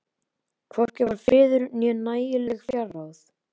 Hvorki var friður né nægileg fjárráð.